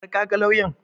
Har ka ga lauyan?